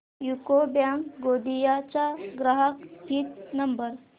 UCO bank Gondia चा ग्राहक हित नंबर